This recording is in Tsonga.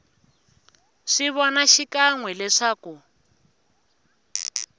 swi vona xikan we leswaku